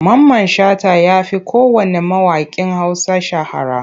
Mamman Shata ya fi kowanne mawaƙin Hausa shahara.